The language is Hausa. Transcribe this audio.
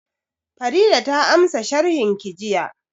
Farida ta ansa sharhin ki jiya